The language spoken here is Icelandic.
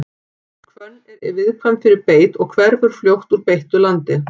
Hvönn er viðkvæm fyrir beit og hverfur fljótt úr beittu landi.